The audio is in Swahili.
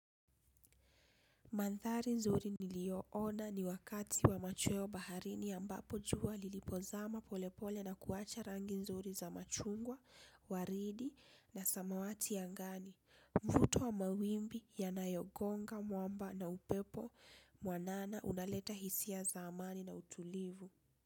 Mandhari nzuri niliyoona ni wakati wa machweo baharini ambapo jua lilipozama polepole na kuwacha rangi nzuri za machungwa, waridi na samawati angani. Mvuto wa mawimbi yanayogonga, mwamba na upepo mwanana unaleta hisia za amani na utulivu.